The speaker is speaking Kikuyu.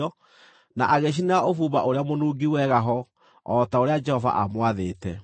na agĩcinĩra ũbumba ũrĩa mũnungi wega ho o ta ũrĩa Jehova aamwathĩte.